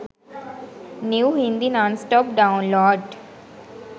new hindi nonstop download.